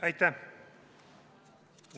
Aitäh!